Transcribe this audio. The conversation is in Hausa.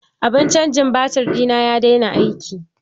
Abun canjin batur ɗina ya daina aiki